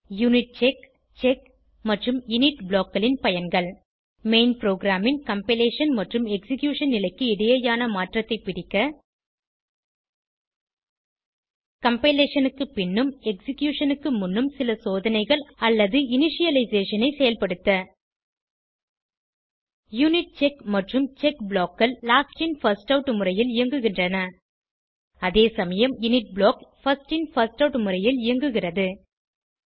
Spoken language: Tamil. யூனிட்செக் செக் மற்றும் இனிட் blockகளின் பயன்கள் மெயின் புரோகிராம் ன் கம்பைலேஷன் மற்றும் எக்ஸிகியூஷன் நிலைக்கு இடையேயான மாற்றத்தை பிடிக்க கம்பைலேஷன் க்கு பின்னும் எக்ஸிகியூஷன் க்கு முன்னும் சில சோதனைகள் அல்லது இனிஷியலைசேஷன் ஐ செயல்படுத்த யூனிட்செக் மற்றும் செக் blockகள் லாஸ்ட் இன் பிர்ஸ்ட் ஆட் முறையில் இயங்குகின்றன அதே சமயம் init block first in first out முறையில் இயங்குகிறது